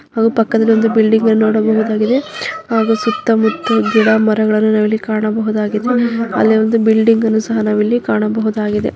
ಹಾಗು ಪಕ್ಕದಲ್ಲಿ ಒಂದು ಬಿಲ್ಡಿಂಗ್ ಅನ್ನ ನೋಡಬಹುದಾಗಿದೆ ಹಾಗು ಸುತ್ತ ಮುಟ್ಟಲು ಗಿಡ ಮರಗಳ್ಳನ ನಾವಿಲ್ಲಿ ಕಾಣಬಹುದಾಗಿದೆ. ಅಲ್ಲೇ ಒಂದು ಬಿಲ್ಡಿಂಗ್ ಅನ್ನ ಸಹ ನಾವಿಲ್ಲಿ ಕಾಣಬಹುದಾಗಿದೆ.